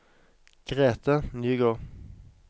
Grete Nygård